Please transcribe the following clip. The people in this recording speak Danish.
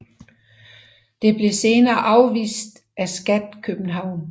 Det blev senere afvist af Skat København